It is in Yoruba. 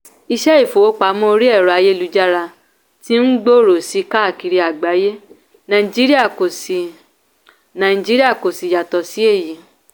iṣẹ́ ìfowópamọ́ orí ẹ̀rọ ayélujára ti ń gbòòrò sí i káàkiri àgbáyé nàìjíríà kò sì nàìjíríà kò sì yàtọ̀ sí èyí.